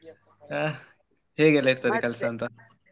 ಹಾ ಹೇಗೆಯೆಲ್ಲ ಇರ್ತದೆ ಕೆಲ್ಸ ಅಂತ.